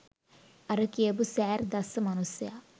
අර කියපු "සෑර්" දස්ස මනුස්සයා